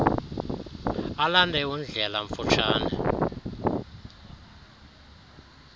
alande undlela mfutshane